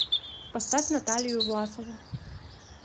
поставь наталию власову